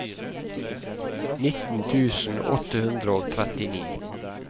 nitten tusen åtte hundre og trettini